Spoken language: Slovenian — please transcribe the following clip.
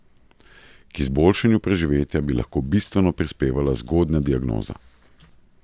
K izboljšanju preživetja bi lahko bistveno prispevala zgodnja diagnoza.